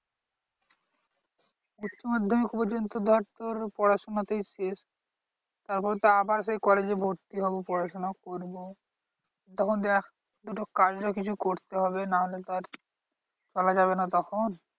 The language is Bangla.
উচ্চমাধ্যমিক পর্যন্ত ধর তোর পড়াশোনাতেই শেষ। তারপর তো আবার সেই কলেজে ভর্তি হবো পড়াশোনা করবো। তখন দেখ দুটো কাজ তো কিছু করতে হবে না হলে তো আর চলা যাবে না তখন।